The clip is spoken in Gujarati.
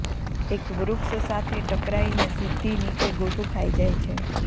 એક વૃક્ષ સાથે ટકરાઈને સીધી નીચે ગોથુ ખાઈ જાય છે